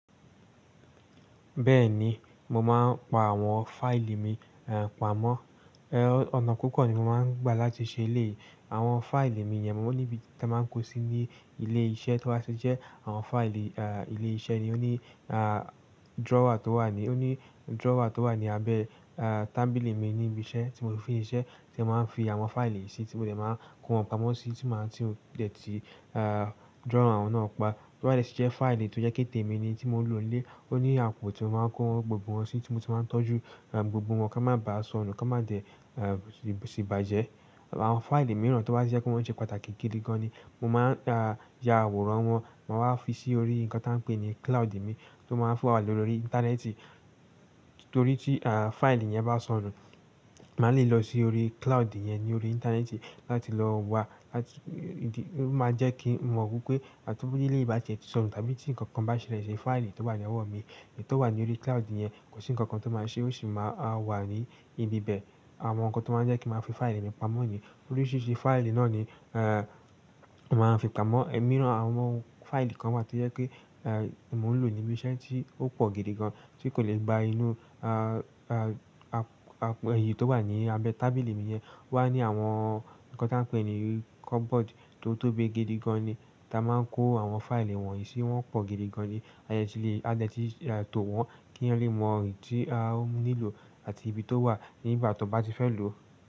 Bẹ́ẹ̀ni, mo máa ń pa àwọn fáìlì mi, eh, pamọ́. Eh, ọ̀nà púpọ̀ ni mo máa ń gbà láti ṣe èléyìí àwọn fáìlì mi yẹn. Mo ní ibi tí mo máa ń kó sí ní ilé iṣẹ́ tí o ba ti jẹ́ àwọn fáìlì, ah, ilé iṣẹ́ ni ó ní, ah, drawer tó wà ní, ó ní drawer tó wà ní abẹ́, ah, tábìlì mi níbi iṣẹ́ tí mo fi ń ṣe iṣẹ́ tí a máa ń fi àwọn fáìlì sí tí mo dẹ̀ máa kó wọn pamọ́ sí tí máa ń, tí ó dẹ̀ ti, ah, drawer náà pa. Drawer ẹ lẹ́sẹ̀ ṣe fáìlì tó jẹ́ pé témi ni tí mo ń lò nílé. Ó ní àpò tí mo máa ń kó gbogbo wọn sí tí mo ti máa ń tọ́jú, eh, gbogbo wọn kí wọ́n má bàá sọnù kí wọ́n má dẹ̀, eh, sì bàjẹ́. Àwọn fáìlì mìíràn tí wọ́n bá ṣe pé wọ́n sẹ́ pàtàkì gidi gan ni mo máa, ah, ya àwòrán wọn, máa wá fi sí orí nǹkan tí wọ́n ń pè ní cloud mi tí ó máa ń fún wa lọ́rí íńtánẹ́ẹ̀tì. Torí tí, ah, fáìlì yẹn bá sọnù, màá lè lọ sí orí cloud yẹn ní orí íńtánẹ́ẹ̀tì láti lọ wa láti, ìdí, ó máa jẹ́ kí n mọ̀ wípé bí ilé bá ṣe ti sọnù tàbí tí ǹkan kan bá ṣẹlẹ̀ ṣe fáìlì tó wà ní ẹwà mi, èyí tó wà ní orí cloud yẹn kò sí ǹkan kan tó máa ṣe, ó sì máa wà ní ibi bẹ. Àwọn ǹkan tó máa ń jẹ́ kí màá fi fáìlì mi pamọ́ yẹn torí sí i ṣe fáìlì náà ni, eh, màá fi pamọ́. Ẹ̀ mííràn àwọn fáìlì kan wà tí jẹ́ pé, eh, mo ń lò níbi iṣẹ́ tí ó pọ̀ gidi gan tí kò lè gba inú, ah, ah, àpò, èyí tó wà ní abẹ́ tábìlì mi yẹn. Wá ní àwọn nǹkan tí wọ́n ń pè ní cupboard tó tóbi gidi gan ni tí a máa ń kó àwọn fáìlì wọ̀nyí sí wọ́n pọ̀ gidi gan ni. E ti lè. Ade ti tò wọ́n kí wọn lè mo èyí tí wọ́n li lò àti ibi towa niba tí wọ́n bá fẹ́ lò.